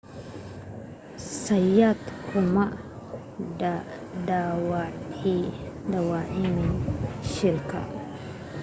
zayat kuma dhaawacmin shilka